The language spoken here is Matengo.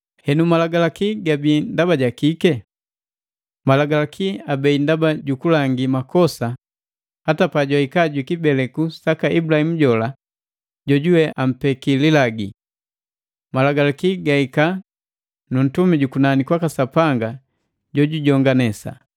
Henu malagalaki gabii ndaba jakike? Malagalaki abei ndaba jukulangi makosa mbaka pajihika jwi kibeleku saka Ibulahimu jola jojuwe ampeki lilagi. Malagalaki gahika na Atumi buku nani kwaka Sapanga jojujonganesa.